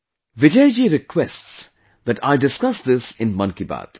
Vijay ji requests that I discuss this in 'Mann Ki Baat'